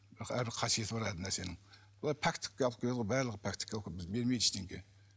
бірақ әрбір қасиеті бар әрбір нәрсенің олар пәктікке алып келеді ғой барлығы пәктікке алып келеді ғой бізге бермейді ештеңе